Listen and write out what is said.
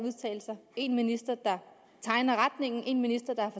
en minister der tegner retningen en minister der